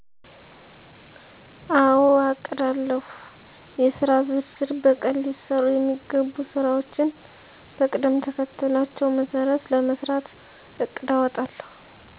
አዎ አቅዳለሁ :-የሥራ ዝርዝር በቀን ሊሠሩ የሚገቡ ሥራዎችን በቅደምተከተላቸው መሠረት ለመሥራት እቅድ አወጣለሁ።